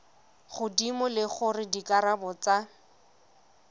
godimo le gore dikarabo tsa